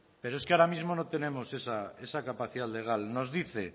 pero es que ahora mismo no tenemos esa capacidad legal nos dice